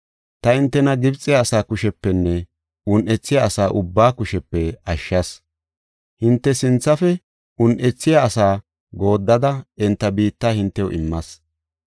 Taani hintena Gibxe asaa kushepenne un7ethiya asa ubbaa kushepe ashshas. Hinte sinthafe un7ethiya asaa gooddada enta biitta hintew immas.